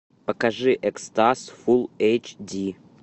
покажи экстаз фул эйч ди